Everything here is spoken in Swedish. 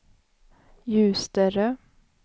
Ljusterö